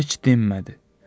Heç dinmədi.